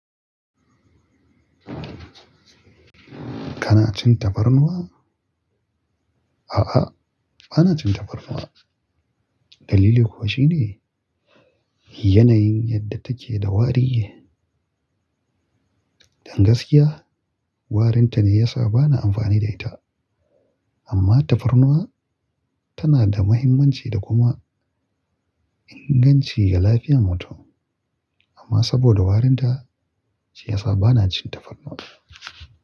Kana cin tafarnuwa? A'a, bana cin tafarnuwa. Dalili kuwa shine yanayin yadda take da wari ne. Don gaskiya, warinta ne ya sa bana amfani da ita. Amma tafarnuwa tana da muhimmanci da kuma inganci ga lafiyar mutum. Amma saboda warinta ce ya sa bana cin tafarnuwa.